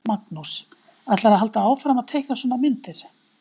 Magnús: Ætlarðu að halda áfram að teikna svona myndir?